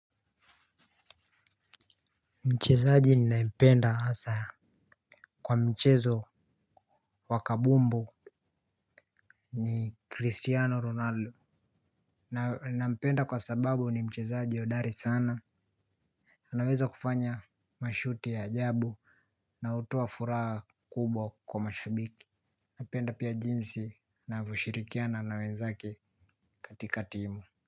Mchezaji ninayempenda hasa. Kwa mchezo wakabumbu ni Cristiano Ronaldo. Na nampenda kwa sababu ni mchezaji hodari sana. Anaweza kufanya mashuti ya ajabu na hutoa furaha kubwa kwa mashabiki. Napenda pia jinsi anavyoshirikiana na wenzake katika timu.